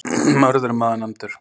Mörður er maður nefndur.